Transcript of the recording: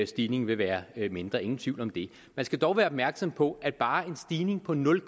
stigningen vil være mindre ingen tvivl om det man skal dog være opmærksom på at bare en stigning på nul